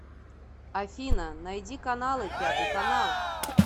афина найди каналы пятый канал